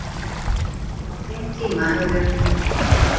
Á þeim tíma eru